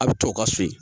A bɛ to ka so yen